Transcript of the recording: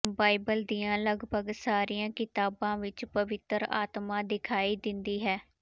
Bible ਦੀਆਂ ਲਗਭਗ ਸਾਰੀਆਂ ਕਿਤਾਬਾਂ ਵਿਚ ਪਵਿੱਤਰ ਆਤਮਾ ਦਿਖਾਈ ਦਿੰਦੀ ਹੈ